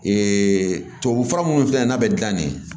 tubabu fura munnu filɛ n'a bɛ gilan ne